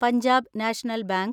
Punjab national bank